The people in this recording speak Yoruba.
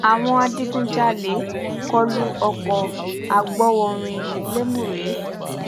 àwọn adigunjalè kọlu ọkọ̀ agbowórin lémùré